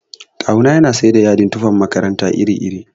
Kawu na yana siyar da yadin tufan makaranta iri iri.